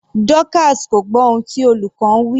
Dorcas kò gbọ́ ohun tí olùkọ́ ń wí.